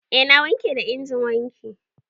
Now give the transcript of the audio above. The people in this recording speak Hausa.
Eh na wanke da injin wanki.